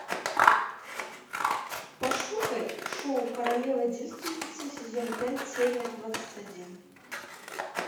пошукай шоу королева девственница сезон пять серия двадцать один